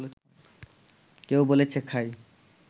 কেউ বলেছে খাই